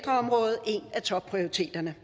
topprioriteterne